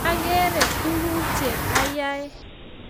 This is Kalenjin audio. ag'ere tuk che ayae